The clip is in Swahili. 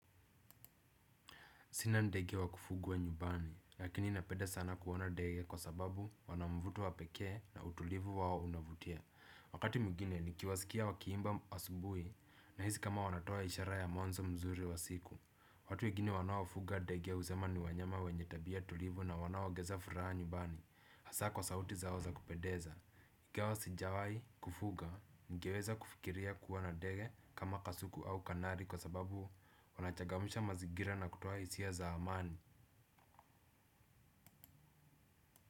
Sina ndege wa kufugwa nyumbani, lakini napenda sana kuona ndege kwa sababu wana mvuto wa pekee na utulivu wao unavutia. Wakati mwingine nikiwasikia wakiimba asubuhi nahisi kama wanatoa ishara ya mwanzo mzuri wa siku. Watu wengine wanaofuga ndege husema ni wanyama wenye tabia tulivu na wanaoongeza furaha nyumbani. Hasa kwa sauti zao za kupendeza. Ingawa sijawahi kufuga ningeweza kufikiria kuwa na ndege kama kasuku au kanari kwa sababu wanachangamsha mazingira na kutoa hisia za amani.